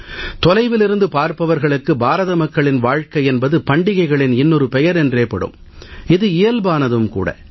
தொலைவிலிருந்து பார்ப்பவர்களுக்கு பாரத மக்களின் வாழ்க்கை என்பது பண்டிகைகளின் இன்னொரு பெயர் என்றே படும் இது இயல்பானதும் கூட